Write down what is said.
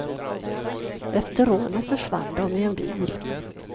Efter rånet försvann de i en bil.